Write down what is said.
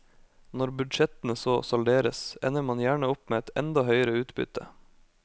Når budsjettene så salderes, ender man gjerne opp med et enda høyere utbytte.